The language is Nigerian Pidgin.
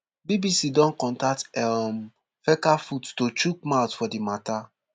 bbc don contact um fecafoot to chook mouth for di mata